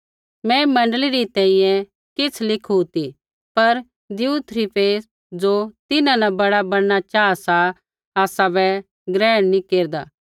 मैं मण्डली री तैंईंयैं किछ़ लिखू ती पर दियुत्रिफेस ज़ो तिन्हां न बड़ा बणना चाहा सा आसाबै ग्रहण नी केरदा